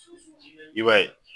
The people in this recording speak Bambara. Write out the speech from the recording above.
I b'a ye